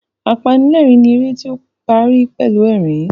Apanilẹ́rìn ni eré tí ó parí pẹ̀lú ẹ̀rín